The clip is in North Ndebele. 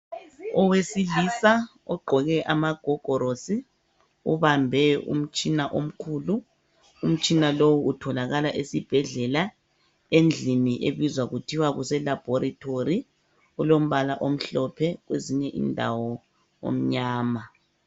Owesilisa ogqoke amagogorosi ubambe umtshina omkhulu umtshina lowu utholakala esibhedlela endlini ebizwa kuthiwe kuse laboratory ulombala omhlophe kwezinye indawo omnyama.